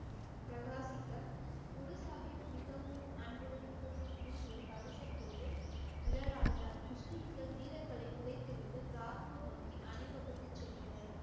பிரகாசிக்க குரு சாஹிப் மிகவும் அன்புடன் முகத்தில் முன் ஒரு கவசம் போட்டு நிழல் ஆடினார் முஸ்லிம்கள் வீரர்களை புதைத்து விட்டு கிராத்பூர் நோக்கி அணிவகுத்துச் சென்றனர்